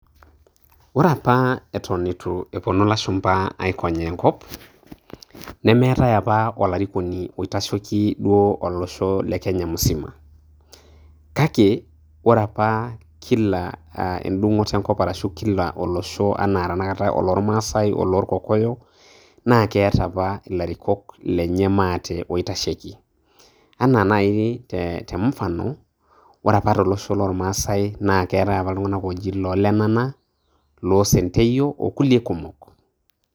Ore apa eton eitu eponu ilashumpa aikonyaa enkop, nemeetae apa olarikoni oitasheki duo olosho le Kenya musima. Kake, ore apa kila edung'oto enkop arashu kila olosho enaa tanakata oloormasai, olorkokoyo, na keeta apa ilarikok lenye maate oitasheki. Enaa nai te mfano, ore apa tolosho lormasai na keetae apa iltung'anak oji loo Lenana, loo Senteyio orkulie kumok.